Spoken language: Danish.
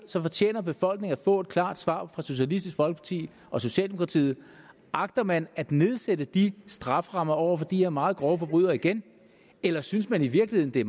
så fortjener befolkningen at få et klart svar fra socialistisk folkeparti og socialdemokratiet agter man at nedsætte de strafferammer over for de her meget grove forbrydelser igen eller synes man i virkeligheden det